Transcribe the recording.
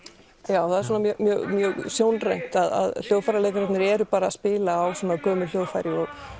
já það er svona mjög mjög sjónrænt að hljóðfæraleikararnir eru bara að spila á gömul hljóðfæri